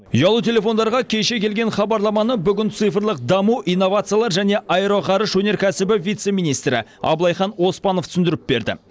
ұялы телефондарға кеше келген хабарламаны бүгін цифрлық даму инновациялар және аэроғарыш өнеркәсібі вице министрі абылайхан оспанов түсіндіріп берді